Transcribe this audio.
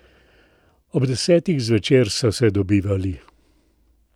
Ob desetih zvečer so se dobivali.